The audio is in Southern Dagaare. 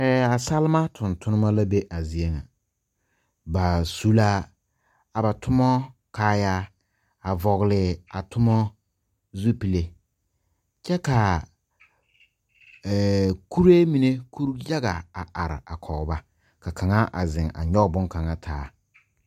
Salma tungtumba la be a zeɛ nga ba su la a ba tuma kaayaa a vɔgle a tuma zupile kye ka kuree mene kuri yaga a arẽ a kɔg ba ka kanga a zeng a nyuge bonkanga taa.